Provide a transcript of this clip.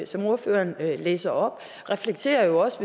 som ordføreren læste op reflekterer jo også